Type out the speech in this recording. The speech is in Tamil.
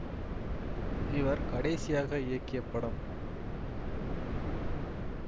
இவர் கடைசியாக இயக்கிய படம்